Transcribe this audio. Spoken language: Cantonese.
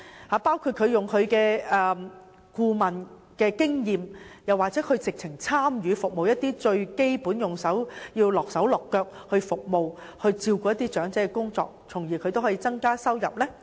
當中包括利用他們的顧問經驗，甚至親自參與最基本的服務和照顧長者的工作，從而增加收入。